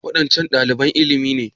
Waɗancan ɗaliban ilimi ne?